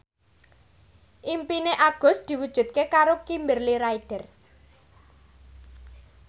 impine Agus diwujudke karo Kimberly Ryder